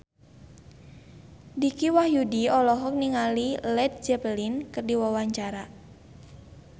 Dicky Wahyudi olohok ningali Led Zeppelin keur diwawancara